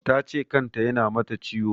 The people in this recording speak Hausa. Ta ce kan ta ya na mata ciwo